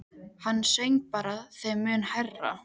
Hann söng bara þeim mun hærra.